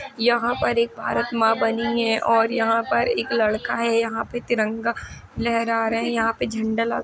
यहाँं एक भारत माँ बनी हैं और यहाँं पर एक लड़का है यहाँं पे तिरंगा लहरा रहे है यहाँं पे झंडा लगा --